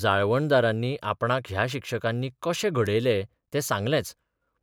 जाळवणदारांनी आपणाक ह्या शिक्षकांनी कशें घडय तें सांगर्लेच,